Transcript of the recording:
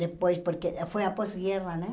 Depois, porque foi após a guerra, né?